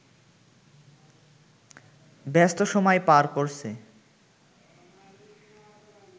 ব্যস্ত সময় পার করছে